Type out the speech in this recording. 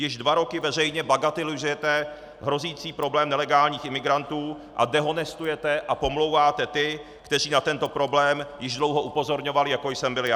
Již dva roky veřejně bagatelizujete hrozící problém nelegálních imigrantů a dehonestujete a pomlouváte ty, kteří na tento problém již dlouho upozorňovali, jako jsem byl já.